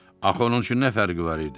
Axı onun üçün nə fərqi var idi?